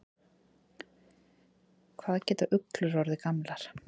Hvað geta uglur orðið gamlar?